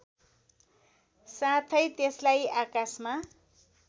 साथै त्यसलाई आकाशमा